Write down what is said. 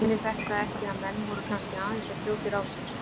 Sýnir þetta ekki að menn voru kannski aðeins of fljótir á sér?